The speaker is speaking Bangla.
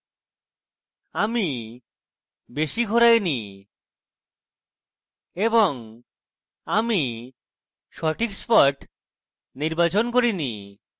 আমি বেশি ঘোরাইনি এবং আমি সঠিক spot নির্বাচন করিনি